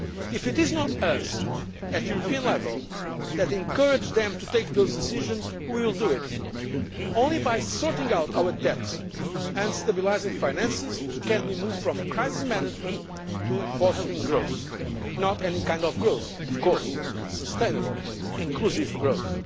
set? If it is not us at European level, who will encourage them to take those decisions, who will do it? Only by sorting out our debt and stabilising finances can we move from crisis management to fostering growth not any kind of growth of course, but sustainable, inclusive